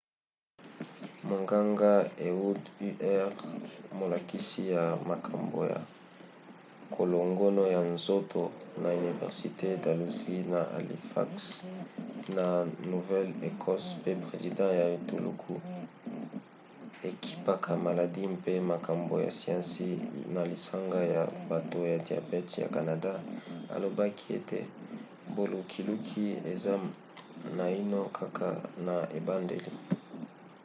monganga ehud ur molakisi ya makambo ya kolongono ya nzoto na université dalhousie na halifax na nouvelle-écosse pe president ya etuluku ekipaka maladi mpe makambo ya siansi na lisanga ya bato ya diabete ya canada alobaki ete bolukiluki eza naino kaka na ebandeli